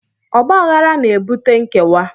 Ọgbaghara na-ebute nkewa